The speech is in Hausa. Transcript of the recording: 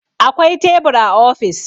Akwai tebur a ofis.